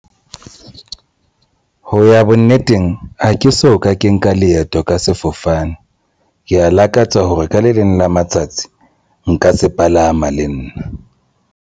Ho ya bonneteng ha ke so ka ke nka leeto ka sefofane ke ya lakatsa hore ka le leng la matsatsi nka se palama le nna.